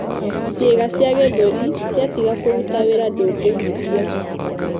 Ciĩga cia gĩthũri ciatiga kũruta wĩra ndũngĩhuhia.